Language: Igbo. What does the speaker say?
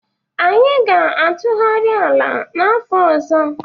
Anyị ga-atụgharị ala n'afọ ọzọ.